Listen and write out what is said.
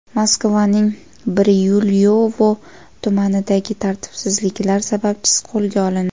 Moskvaning Biryulyovo tumanidagi tartibsizliklar sababchisi qo‘lga olindi.